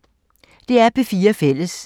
DR P4 Fælles